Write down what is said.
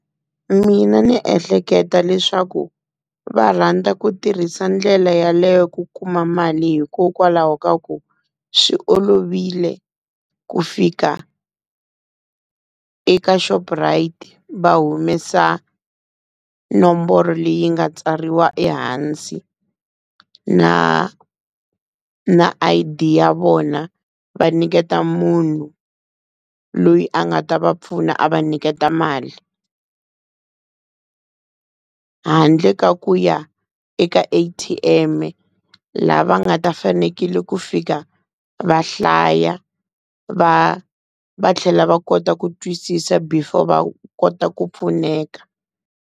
Mina ndzi ehleketa leswaku va rhandza ku tirhisa ndlela yaleyo ku kuma mali hikokwalaho ka ku swi olovile ku fika eka Shoprite va humesa nomboro leyi nga tsariwa ehansi, na na l_D ya vona va nyiketa munhu loyi a nga ta va pfuna a va nyiketa mali, handle ka ku ya eka A_T_M lava nga ta fanekele ku fika va hlaya va va tlhela va kota ku twisisa before va kota ku pfuneka.